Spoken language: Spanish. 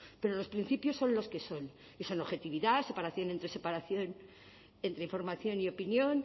pero los principios son los que son y son objetividad separación entre información y opinión